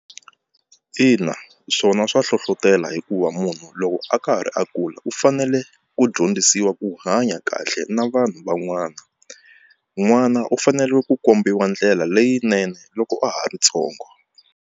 Ina swona swa hlohlotelo hikuva munhu loko a ka ha ri a kula u fanele ku dyondzisiwa ku hanya kahle na vanhu van'wana n'wana u fanele ku kombiwa ndlela leyinene loko a ha ri ntsongo.